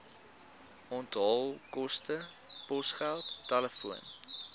onthaalkoste posgeld telefoon